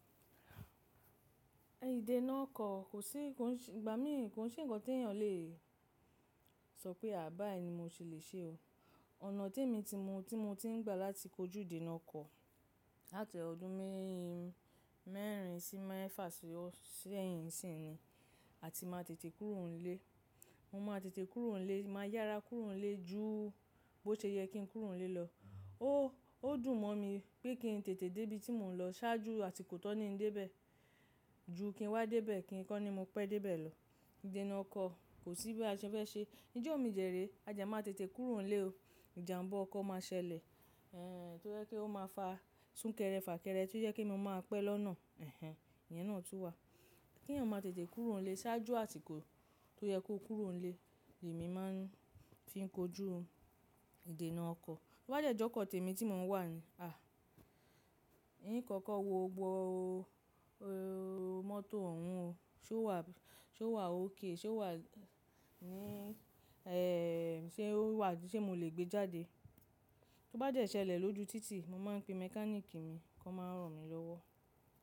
Idẹna ọkọ̀ kò sí, ìgbà mí kò sí ǹkan tí èyàn lè sọ pé àbá èyí ni mo ti le ṣe o. Ọ̀nà tí èmi ti mọ, tí mo ti ń gbà láti kojú idẹna ọkọ̀ láti ọdún mẹ́rin sí mẹ́fà sí sẹ́yìn sí ìní, a ti ma tètè kúrò nílé. Mo ma tètè kúrò nílé, màá yára kúrò nílé ju bó ṣe yẹ kí n kúrò nílé lọ. Ó dùn mọ́ mi pé kí n tètè dé ibi tí mò ń lọ ṣáájú àti kò tọ́ ní ń dé bẹ́ẹ̀ ju kí n wá dé bẹ́ẹ̀ kí n kọ́ ni mo pẹ́ dé bẹ́ẹ̀ lọ. Idẹna ọkọ̀ kò sí bí a ṣe fẹ́ ṣe. Níjọ́ mi dẹ̀rẹ́, a dẹ́ máa tètè kúrò nílé o. Ìjàǹbọ ọkọ̀ máa ṣẹlẹ̀, ẹ́ ẹ́ ẹ́ tó jẹ́ kí ó máa fa súnkẹrẹ fà kẹrẹ tí ó yẹ kí mo máa pẹ́ lọ́nà. Ẹ̀hẹn, ìyẹn náà tún wà. Kí èyàn máa tètè kúrò nílé ṣáájú àsìkò tó yẹ kó kúrò nílé, èmi máa ń fi ń kojú idẹna ọkọ̀. Bí ó bá jẹ́ ọkọ̀ tèmi tí mò ń wà ní, à ní ìkọ̀kọ̀ wo gbọ mọ́tò òun o, ṣe ó wà, ṣe ó wà okay, ṣe ó wà ní ẹ́ ẹ́ ẹ́ ṣe ó wà tí ṣe mo lè gbé jáde. Bí ó bá jẹ́ ṣẹlẹ̀ lójú títì, mo máa ń pe mẹ́káníìkì mi kó máa ràn mí lọ́wọ́.